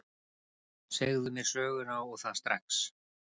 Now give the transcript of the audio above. Segðu mér söguna, og það strax.